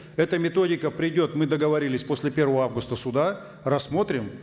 эта методика придет мы договорились после первого августа сюда рассмотрим